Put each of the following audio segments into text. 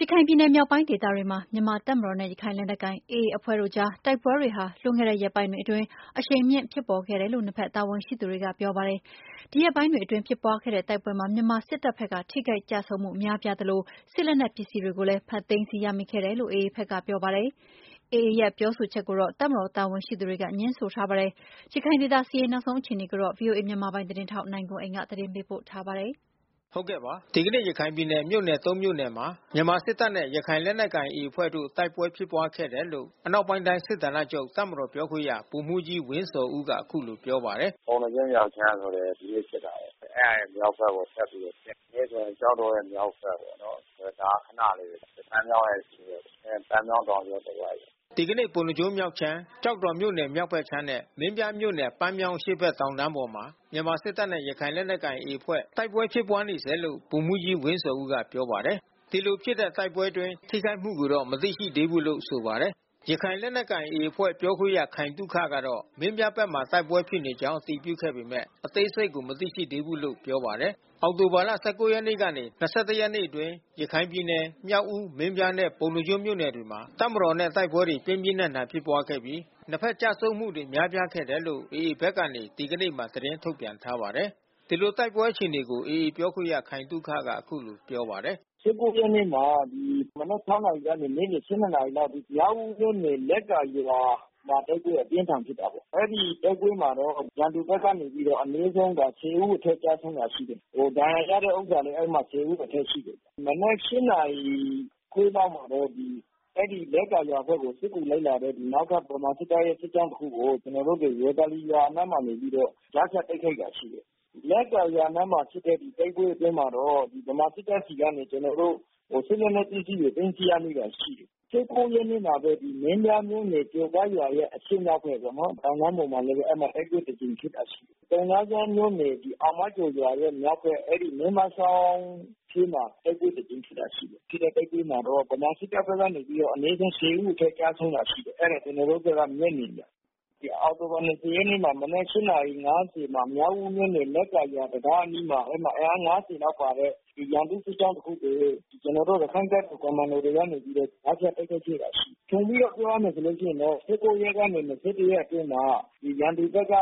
ရခိုင်ပြည်နယ်မြောက်ပိုင်းဒေသတွေမှာ မြန်မာ့တပ်မတော်နဲ့ရခိုင်လက်နက်ကိုင် AA အဖွဲ့တို့အကြား တိုက်ပွဲတွေဟာ လွန်ခဲ့တဲ့ရက်ပိုင်းအတွင်း အရှိန်မြင့် ဖြစ်ပေါ်ခဲ့တယ်လို့ နှစ်ဘက် တာဝန်ရှိသူတွေကပြောပါတယ်။ ဒီရက်ပိုင်းအတွင်းဖြစ်ပွားတဲ့တိုက်ပွဲမှာ မြန်မာစစ်တပ်ဖက်ကထိခိုက် ကျဆုံး မှုများပြားသလို စစ်လက်နက်ပစ္စည်းတွေကိုလဲ သိမ်းဆီးရရှိခဲ့တယ်လို့ AAဖက်ကပြောပါတယ်။ AA ဘက်က အဲဒီလို ပြောဆိုတဲ့အပေါ် တပ်မတော်တာဝန်ရှိသူတွေက ငြင်းဆိုထားပါတယ်။ ရခိုင်ဒေသ စစ်ရေးနောက်ဆုံးအခြေအနေကိုတော့ ဗွီအိုအေ မြန်မာ ပိုင်းသတင်းထောက် နိုင်ကွန်းအိန်ကနေ သတင်းပေးပို့ထားပါတယ်။ ဒီကနေ့ ရခိုင်ပြည်နယ် မြို့နယ် မြို့နယ်မှာ မြန်မာစစ်တပ်နဲ့ရခိုင်လက်နက်ကိုင်AAအဖွဲ့တို့ တိုက်ပွဲဖြစ်ပွားခဲ့တယ် လို့ အနောက်ပိုင်းတိုင်းစစ်ဌာနချုပ် တပ်မတော်ပြောခွင့်ရ ဗိုလ်မှူးကြီး ဝင်းဇော်ဦးက အခုလိုပြောပါတယ်။ “ပုဏ္ဏားကျွန်းမြောက်ခြမ်းဆိုလဲ ဒီနေ့ဖြစ်တာဘဲ။ အဲတာရဲ့မြောက်ဖက်ပေါ့ ဆက်ပြီးတော့ဖြစ်နေတယ်။ ကျောက်တော်ရဲ့ မြောက်ဖက်ပေါ့နော်။ ဒါကခဏလေးပဲ။ ပန်းမြောင်းရဲ့အရှေ့ဖက် ပန်းမြောင်း တောင်ကြော တဝိုက်။” ဒီကနေ့ ပုဏ္ဏားကျွန်းမြောက်ခြမ်း၊ ကျောက်တော်မြို့နယ်မြောက်ဖက်ခြမ်းနဲ့ မင်းပြားမြို့နယ် ပန်းမြောင်းအရှေ့ဖက် တောင်တန်းပေါ်မှာ မြန်မာစစ်တပ်နဲ့ ရခိုင်လက်နက်ကိုင် AAအဖွဲ့ တိုက်ပွဲဖြစ်ပွား နေစဲလို့ ဗိုလ်မှူးကြီး ဝင်းဇော်ဦး ကပြောပါတယ်။ ဒီလိုဖြစ်တဲ့တိုက်ပွဲ အတွင်းထိခိုက်မှု ကိုတော့မသိရှိသေးဘူးလို့ လဲဆိုပါတယ်။ ရခိုင်လက်နက်ကိုင် AAအဖွဲ့ပြောခွင့် ရခိုင်သုခကတော့ မင်းပြားဖက်မှာ တိုက်ပွဲဖြစ်နေကြောင်း အတည်ပြုခဲ့ပေမဲ့ အသေးစိတ်ကိုမသိရှိသေးဘူးလို့ပြောပါတယ်။ အောက်တိုဘာလ ၁၉ ရက်နေ့ကနေ ၂၁ ရက်အတွင်း ရခိုင်ပြည်နယ် မြောက်ဦး၊ မင်းပြားနဲ့ ပုဏ္ဏားကျွန်းမြို့နယ်တွေမှာ တပ်မတော်နဲ့ တိုက်ပွဲတွေ ပြင်းပြင်းထန်ထန် ဖြစ်ပွားခဲ့ပြီး နှစ်ဘက်ကျဆုံးမှုတွေ များပြားခဲ့တယ်လို့ AA ဘက်ကနေ ဒီကနေ့မှာ သတင်းထုတ်ပြန်ထားပါတယ်။ ဒီလို တိုက်ပွဲအခြေအနေကို AAပြောခွင့်ရ ခိုင်သုခက အခုလိုပြောပါတယ်။ ရက်နေ့မှာ မနက် နာရီကနေ နေ့လယ် နာရီအထိ မြောက်ဦးမြို့နယ်လက်ကာရွာမှာ တိုက်ပွဲအပြင်းအထန် ဖြစ်တာပေါ့။ အဲဒီတိုက်ပွဲမှာတော့ ရန်သူဖက်ကနေပြီးတော့ အနည်းဆုံး ဦးအထက် ကျဆုံးတာရှိတယ်။ ဒဏ်ရာရတဲ့ဥစ္စာ လဲ အဲဒီမှာ ဦးအထက်ရှိတယ်။ မနက် နာရီခွဲလောက်မှာတော့ အဲဒီလက်ကာရွာဖက်ကိုစစ်ကူလိုက်လာတဲ့ နောက် ကဗမာစစ်တပ်ရဲ့ စစ်ကြောင်းတခုကို ကျွန်တော်တို့ ဝေသာလီရွာအနားမှာနေပြီးတော့ ကြားဖြတ်တိုက်ခိုက်တာရှိတယ်။ လက်ကာရွာအနားမှာဖြစ်တဲ့တိုက်ပွဲအတွင်းမှာတော့ ဗမာစစ်တပ်ဆီကနေကျွန်တော်တို့ စစ်လက်နက်ပစ္စည်းတွေ သိမ်း ဆီး ရမိတာရှိတယ်။ ရက်နေ့မှာလဲ ဒီမင်းပြားမြို့နယ် ကျော်ကရွာရဲ့ အရှေ့မြောက်ဖက်ပေါ့နော် တောင်တန်းပေါ်မှာ လဲဘဲ အဲဒီမှာတိုက်ပွဲတကြိမ်ဖြစ်တာရှိတယ်။ ပုဏ္ဏားကျွန်းမြို့နယ် အောင်မကျော်ရွာရဲ့မြောက်ဖက် မင်းမချောင်းထဲမှာလဲ တိုက်ပွဲ တကြိမ်ဖြစ်တာရှိတယ်။ ဖြစ်တဲ့တိုက်ပွဲမှာတော့ဗမာစစ်တပ်ဖက်က အနည်းဆုံး ဦး အထက် ကျဆုံးတာရှိတယ်။ အဲတာကျွန်တော်တို့ဖက်ကမျက်မြင်ပေါ့။ အောက်တိုဘာ ရက်နေ့မှာ မြောက်ဦးမြို့နယ် လက်ကာတံတားအနီးမှာ အင်အား လောက်ပါတဲ့ ရန်သူ့စစ်ကြောင်းတခုကို ကျွန်တော်တို့ ရခိုင့်တပ်တော်ကွန်မန်ဒိုတွေက ကြားဖြတ် တိုက်ခိုက် ခဲ့တာရှိတယ်။ ခြုံပြီးတော့ ပြောရမယ်ဆိုရင်တော့ ရက်ကနေ ရက်အတွင်းမှာ ရန်သူဖက်က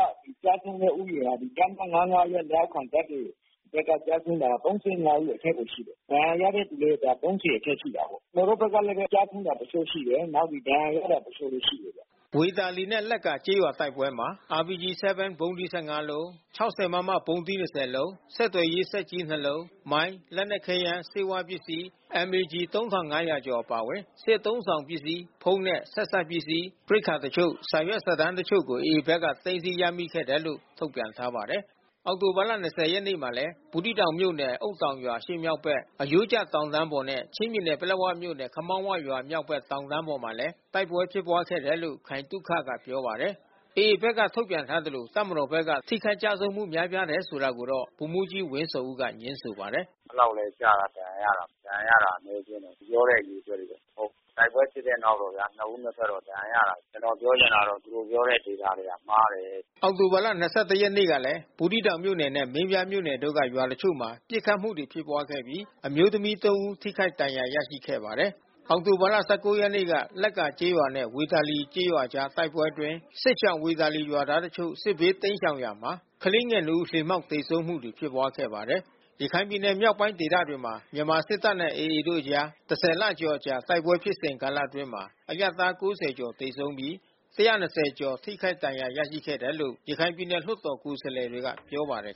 ကျဆုံးတဲ့ဦးရေက တပ်မ က လက်အောက်ခံတပ်တွေ ဘက်ကကျဆုံးတာ ဦးအထက်မှာရှိတယ်။ ဒဏ်ရာရတဲ့ သူလဲ အထက်ရှိ တာပေါ့။ ကျွန်တော်တို့ဖက်ကလဲဘဲ ကျဆုံးတာတချို့ရှိတယ်။ နောက်ဒဏ်ရာရသူ တချို့လဲရှိတယ်ဗျ။” ဝေသာလီနဲ့လက်ကာကျေးရွာတိုက်ပွဲမှာ RPG-7 ဗုံးသီး လုံး၊ ၆၀ မမဗုံးသီး လုံး၊ ဆက်သွယ်ရေးစက်ကြီး လုံး၊ မိုင်း၊ လက်နက်ခဲယမ်း၊ ဆေးဝါးပစ္စည်း၊ MA ကျည် ၊ အပါအဝင် စစ်အသုံးအဆောင်ပစ္စည်း ဖုန်း နဲ့ ဆက်စပ်ပစ္စည်း ရိက္ခာအချို့ စာရွက်စာတမ်းအချို့ကို AA ဘက်က သိမ်းဆည်းရမိခဲ့တယ်လို့ ထုတ်ပြန်ထားပါတယ်။ အောက်တိုဘာ ရက်နေ့မှာလဲ ဘူးသီးတောင်မြို့နယ်၊ အုတ်တောင်ရွာ အရှေ့မြောက်ဖက်၊ "အရိုးကျတောင်တန်း" ပေါ်နဲ့ ချင်းပြည်နယ်၊ ပလက်ဝမြို့နယ်၊ ခမောင်းဝရွာမြောက်ဘက် တောင်တန်းပေါ်မှာလဲ တိုက်ပွဲဖြစ်ပွားခဲ့တယ်လို့ ခိုင်သုခ ကပြောပါတယ်။ AAဖက်က ထုတ်ပြန်ထားသလို မြန်မာစစ်တပ်ဖက်က ထိခိုက်ကျဆုံးမှုများပြားတယ် ဆိုတာကိုတော့ ဗိုလ်မှူးကြီး ဝင်းဇော်ဦး ကငြင်းဆိုပါတယ်။ “အဲဒီလောက်လဲကျတာ ဒဏ်ရာရတာ ဒဏ်ရာရတာအနည်းအကျဉ်းဘဲ။ သူပြောတဲ့ အရေအတွက်လဲ မဟုတ်ဘုူး။ တိုက်ပွဲ ဖြစ်တဲ့ နောက်တော့ဗျာ နှစ်ဦးနှစ်ဖက်တော့ ဒဏ်ရာရတာဘဲ။ ကျွန်တော် ပြောချင်တာက သူတို့ပြောတဲ့ Data တွေ မှားတယ်။” အောက်တိုဘာလ ၂၁ ရက်နေ့ကလည်း ဘူးသီးတောင်မြို့နယ်နဲ့ မင်းပြားမြို့နယ်တို့က ရွာတချို့မှာ ပစ်ခတ် မှုဖြစ်ပွါးခဲ့ပြီး အမျိုးသမီး ဦးထိခိုက်ဒဏ်ရာရရှိခဲ့ပါတယ်။ အောက်တိုဘာလ ရက်နေ့လက်ကာကျေးရွာနဲ့ဝေသာလီကျေးရွာအကြားတိုက်ပွဲအတွင်း စစ်ရှောင်ဝေသာလီ ရွာသားတချို့ စစ်ဘေးတိမ်းရှောင်ရာမှာ ကလေးငယ်နှစ်ဦး လှေမှောက်သေဆုံးမှုတွေရှိခဲ့ပါတယ်။ ရခိုင်ပြည်နယ်မြောက်ပိုင်းဒေသတွေမှာ မြန်မာစစ်တပ်နဲ့AAတို့အကြား လကျော်အကြာ တိုက်ပွဲဖြစ်စဉ်ကာလ အတွင်း အရပ်သား ကျော် သေဆုံးပြီး ကျော် ထိခိုက်ဒဏ်ရာရရှိခဲ့တယ်လို့ ရခိုင်ပြည်နယ်လွှတ်တော် ကိုယ်စား လှယ် တွေကပြောပါတယ်